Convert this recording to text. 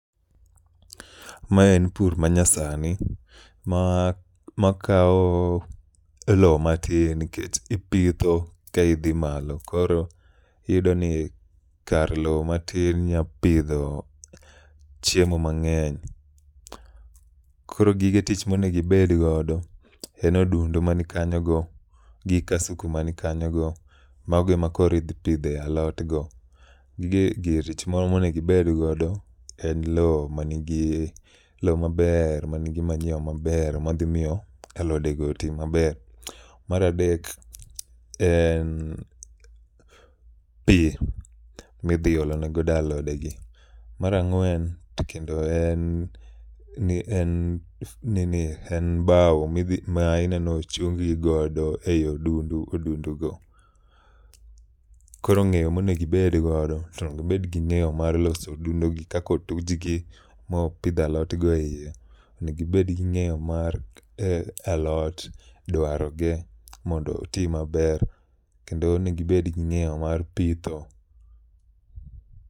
Ma en pur ma nyasani ma ma kawo lo matin nkech ipitho ka idhi malo. Koro iyudo ni kar lo matin nya pidho chiemo mang'eny. Koro gige tich monegibed godo en odundu mani kanyo go, gi kasuku mani kanyo go, mago e ma koro idhi pidhe alot go. Goige gir tich moro monegibedgodo en lo ma nigi, lo maber ma nigi manyiwa maber ma dhi miyo alode go oti maber. Maradek en pi midhi olene godo alode gi. Marang'wen to kendo en en bau ma ineno ochung gi godo ei odundu, odundu go. Koro ng'eyo monegibedgodo to onegibed gi ng'eyo mar loso odundu gi kakotujgi ma opidh alot e iye. Onegibed gi ng'eyo mar alot, dwaro ge mondo oti maber. Kendo onegibed gi ng'eyo mar pitho.